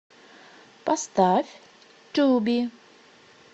поставь туби